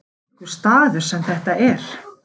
Þvílíkur staður sem þetta er.